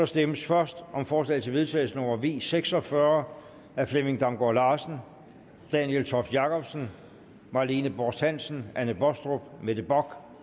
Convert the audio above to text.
stemmes først om forslag til vedtagelse nummer v seks og fyrre af flemming damgaard larsen daniel toft jakobsen marlene borst hansen anne baastrup mette bock